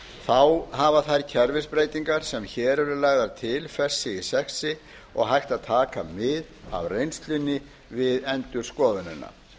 þá hafa þær kerfisbreytingar sem hér eru lagðar til verið fest sig í sessi og hægt að taka mið af reynslunni við endurskoðunina